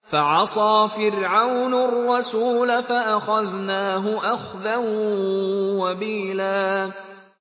فَعَصَىٰ فِرْعَوْنُ الرَّسُولَ فَأَخَذْنَاهُ أَخْذًا وَبِيلًا